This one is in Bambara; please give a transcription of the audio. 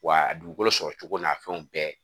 Wa a dugukolo sɔrɔcogo n'a fɛnw bɛɛ